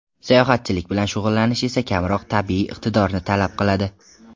Sayohatchilik bilan shug‘ullanish esa kamroq tabiiy iqtidorni talab qiladi.